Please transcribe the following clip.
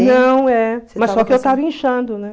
Não, é. Mas só que eu estava inchando, né?